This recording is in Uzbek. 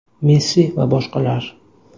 Messi va boshqalar.